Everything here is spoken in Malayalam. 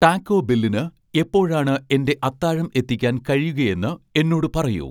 ടാക്കോ ബെല്ലിന് എപ്പോഴാണ് എന്റെ അത്താഴം എത്തിക്കാൻ കഴിയുകയെന്ന് എന്നോട് പറയൂ